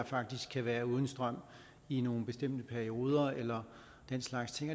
faktisk kan være uden strøm i nogle bestemte perioder eller den slags ting